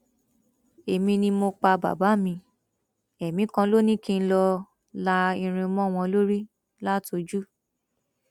èmi ni mo pa bàbá mi èmi kan lọ ni kí n lọọ la irin mọ wọn lórí látojú